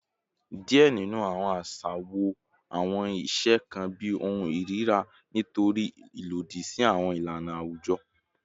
Diẹ ninu awọn aṣa wo awọn iṣe kan bi ohun irira nitori ilodi si awọn ilana awujọ